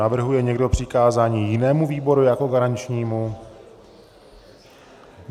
Navrhuje někdo přikázání jinému výboru jako garančnímu?